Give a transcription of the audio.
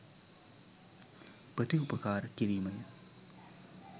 ප්‍රතිඋපකාර කිරීමය.